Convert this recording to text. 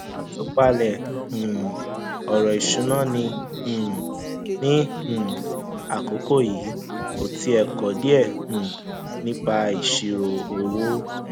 àtúpalẹ um ọrọ ìṣúná ní um ní um àkókò yìí o ti kọ díẹ um nípa ìṣirò owó